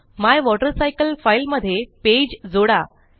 my water cycle file मध्ये page जोडा